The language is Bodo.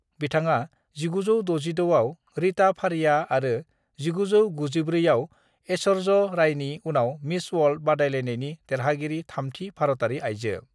बिथाङा 1966 आव रीता फारिया आरो 1994 आव ऐश्वर्या रायनि उनाव मिस वर्ल्ड बादायलायनायनि देरहागिरि थामथि भारतारि आइजो।